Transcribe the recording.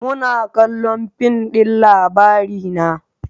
Muna kallon fin din Labarina